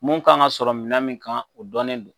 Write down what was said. Mun kan ka sɔrɔ minɛn min kan o dɔnnen don.